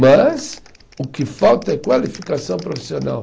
Mas o que falta é qualificação profissional.